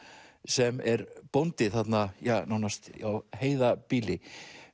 sem er bóndi þarna ja nánast á heiðarbýli